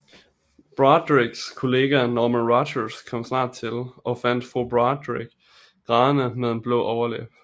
Broaddricks kollega Norma Rogers kom snart til og fandt fru Broaddrick grædende med en blå overlæbe